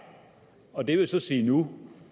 og det vil så sige nu